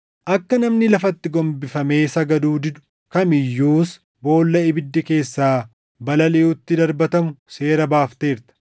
akka namni lafatti gombifamee sagaduu didu kam iyyuus boolla ibiddi keessaa balaliʼutti darbatamu seera baafteerta.